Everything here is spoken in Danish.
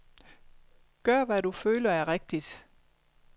Gør hvad du føler er rigtigt.